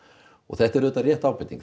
og þetta er rétt ábending